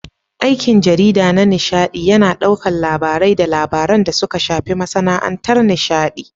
Aikin jarida na nishaɗi yAna ɗaukar labarai da labaran da suka shafi masAna'antar nishaɗi